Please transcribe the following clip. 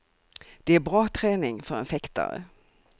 Det är bra träning för en fäktare.